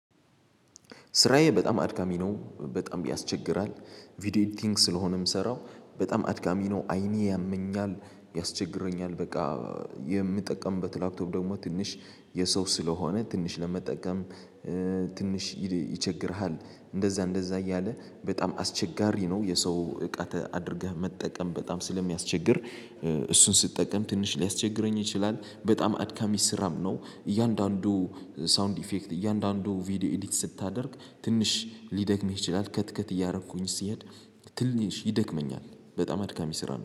ስራዬ በጣም አድካሚ ነው በጣም ያስቸግራል። ቪዲዮ ኤዲቲንግ ስለሆነ ምሰራው በጣም አድካሚ ነው አይኔ ያመኛል ያስቸግረኛል በቃ። የምጠቀምበት ላብቶብ ደግሞ ትንሽ የሰው ስለሆነ ትንሽ ለመጠቀም። ትንሽ ይቸግርሃል እንደዛ እንደዛ እያለ በጣም አስቸጋሪ ነው። የሰው እቃ አድርገህ መጠቀም በጣም ስለሚያስቸግር። እሱን ስጠቀም ትንሽ ሊያስቸግረኝ ይችላል በጣም አድካሚ ስራም ነው። እያንዳንዱ ሳውንድ ኢፌክት እያንዳንዱ ቪዲዮ ኤዲት ስታደርግ ትንሽ ሊደክምህ ይችላል ከትከት እያረኩኝ ሲሄድ። ትንሽ ይደክመኛል በጣም አድካሚ ስራ ነው